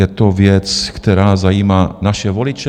Je to věc, která zajímá naše voliče.